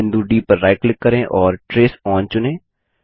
बिंदु डी पर right click करें और ट्रेस ओन चुनें